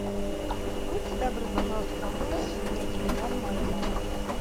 будьте добры пожалуйста пополните мне телефон моей мамы